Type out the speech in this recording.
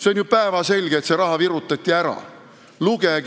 See on ju päevselge, et see raha virutati ära!